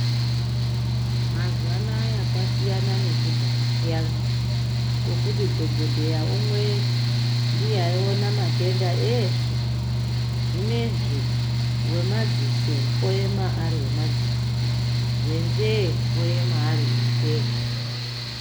Mazuwanaya kwasiyana nekudhaya kuyani kwekuti dhokodheya umwe ndiye aiona matenda eshe , zvinezvi wemadziso aema aeiwemadziso, wenzee oema aeiwenzee.